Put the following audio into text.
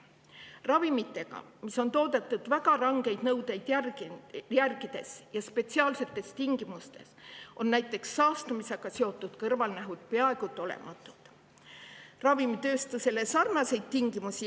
Kui ravimid on toodetud väga rangeid nõudeid järgides ja spetsiaalsetes tingimustes, on näiteks saastumisega seotud kõrvalnähtude peaaegu et olematu.